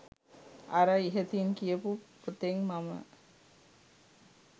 අර ඉහතින් කියපු පොතෙන් මම